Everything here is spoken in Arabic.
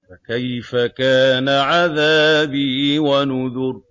فَكَيْفَ كَانَ عَذَابِي وَنُذُرِ